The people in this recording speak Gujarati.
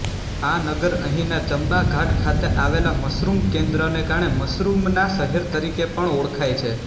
આ નગર અહીંના ચંબાઘાટ ખાતે આવેલા મશરુમ કેન્દ્રને કારણે મશરુમના શહેર તરીકે પણ ઓળખાય છે